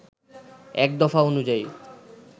এক দফা অনুযায়ী